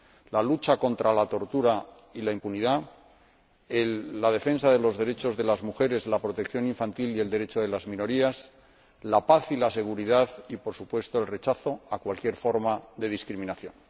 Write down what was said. la lucha contra la tortura y la impunidad, la defensa de los derechos de las mujeres, la protección infantil y el derecho de las minorías, la paz y la seguridad y, por supuesto, el rechazo a cualquier forma de discriminación.